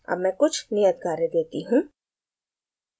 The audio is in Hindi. अब मैं कुछ नियत कार्य देती हूँ